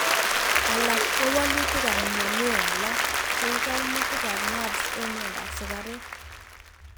alak ko walutik ab mionwek alak, cheu koimutik ab nerves en miandap sigaruk